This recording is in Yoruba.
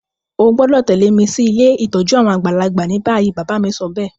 O gbọ́dọ̀ tẹ̀lẹ́ mi si ilé ìtójú àwon àgbàlagbà ni bayi. Bàbá mi sobéè